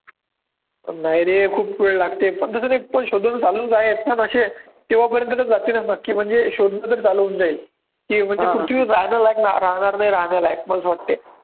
नाही रे खूप वेळ लागते शोधून असे तोपर्यंत तर जातीलच नक्की म्हणजे शोधण्यातचं घालवून देईल, की म्हणजे तुमची जाण्यालायक राहणार नाही राहण्यालायक मला असं वाटते